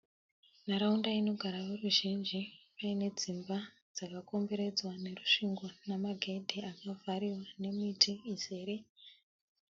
Nharaunda inogara voruzhinji paine dzimba dzakakomberedzwa nerusvingo namagedhi akavhariwa memiti iizere